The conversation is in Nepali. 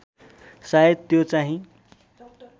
शायद त्यो चाहिँ